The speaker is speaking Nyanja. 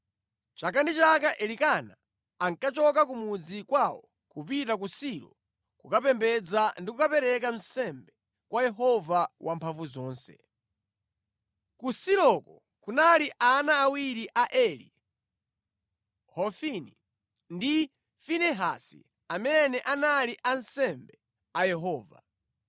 Chaka ndi chaka Elikana ankachoka ku mudzi kwawo kupita ku Silo kukapembedza ndi kukapereka nsembe kwa Yehova Wamphamvuzonse. Ku Siloko kunali ana awiri a Eli, Hofini ndi Finehasi amene anali ansembe a Yehova.